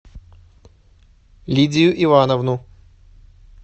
лидию ивановну